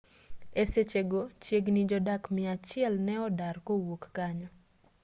e sechego chiegini jodak miachiel ne odar kowuok kanyo